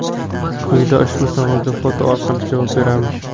Quyida ushbu savolga foto orqali javob beramiz.